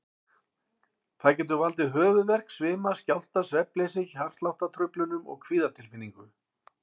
Það getur valdið höfuðverk, svima, skjálfta, svefnleysi, hjartsláttartruflunum og kvíðatilfinningu.